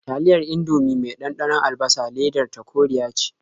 Taliyar Indomie mai ɗanɗanon albasa ledar ta koriya ce.